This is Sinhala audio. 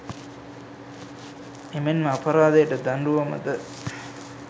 එමෙන් ම අපරාධයට දඬුවම ද